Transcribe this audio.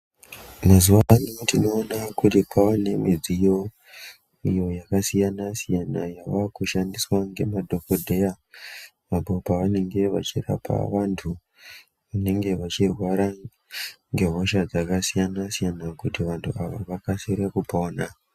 Mazuwa ano tinoona kuti kwaanemidziyo iyo yakasiyana-siyana yavakushandiswa ngemadhogodheya apo pavanenge vachirapa vantu vanenge vachirwara ngehosha dzakasiyana-siyana kuti vantu ava vakasire kupona.